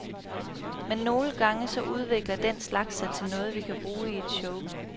Men nogle gange så udvikler den slags sig til noget, vi kan bruge i et show.